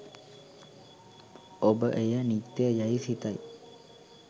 ඔබ එය නිත්‍ය යැයි සිතයි.